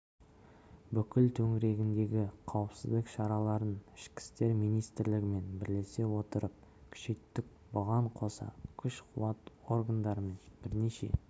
бүкіл төңірегіндегі қауіпсіздік шараларын ішкі істер министрлігімен бірлесе отырып күшейттік бұған қоса күш-қуат органдарымен бірнеше